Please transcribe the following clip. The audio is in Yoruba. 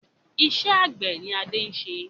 Iṣẹ́ àgbẹ̀ ni Adé ń ṣe